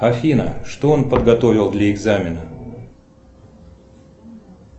афина что он подготовил для экзамена